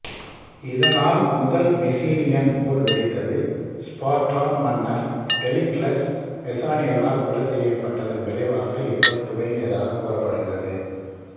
இதனால் முதல் மெசீனியன் போர் வெடித்தது ஸ்பார்டான் மன்னர் டெலிக்லஸ் மெசீனியர்களால் கொலை செய்யப்பட்டதன் விளைவாக இப்போர் துவங்கியதாக கூறப்படுகிறது